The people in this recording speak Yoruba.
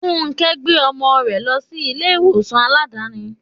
Fúnké gbé ọmọ rẹ lọ sí ilé ìwòsàn Aládàáni.